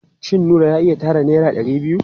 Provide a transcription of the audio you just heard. Shin Nura ya iya tara naira ɗari biyu?